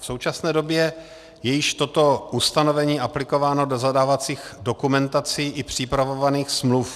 V současné době je již toto ustanovení aplikováno do zadávacích dokumentací i připravovaných smluv.